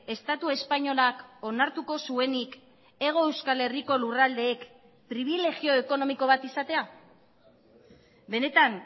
estatu espainolak onartuko zuenik hego euskal herriko lurraldeek pribilegio ekonomiko bat izatea benetan